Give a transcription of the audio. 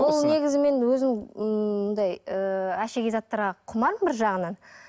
бұл негізі мен өзім ммм мұндай ыыы әшекей заттарға құмармын бір жағынан